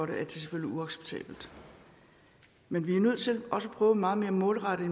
det selvfølgelig uacceptabelt men vi er nødt til også at prøve meget mere målrettet